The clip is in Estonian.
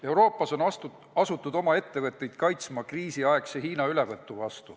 Euroopas on asutud oma ettevõtteid kaitsma kriisiaegse Hiina ülevõtu eest.